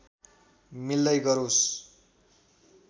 मिल्दै गरोस्